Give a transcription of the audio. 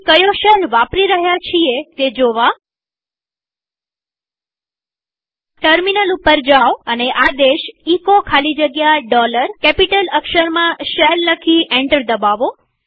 આપણે કયો શેલ વાપરી રહ્યા છીએ તે જોવા ટર્મિનલ ઉપર જાઓ અને આદેશ એચો ખાલી જગ્યા કેપિટલ અક્ષરમાં શેલ લખી એન્ટર દબાવો